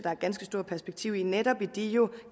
er et ganske stort perspektiv i netop i de